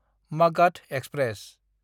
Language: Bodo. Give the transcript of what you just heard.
मागाध एक्सप्रेस